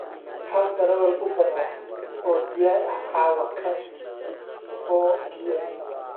hel darawal uber ah oo diyaar ah caawa ka dib 4pm